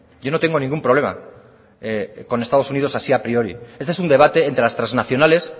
yo no tengo ningún problema con estados unidos así a priori este es un debate entre las transnacionales